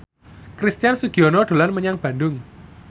Christian Sugiono dolan menyang Bandung